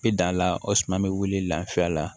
Bi dan la o suman be wuli lafɛ a la